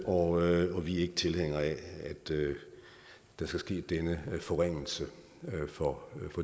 og vi er ikke tilhængere af at der skal ske denne forringelse for